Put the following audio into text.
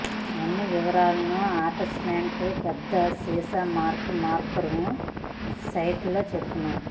అన్ని వివరాలను అటాచ్మెంట్ పెద్ద సీసా మార్క్ మార్కర్ సైట్లో చెప్పెను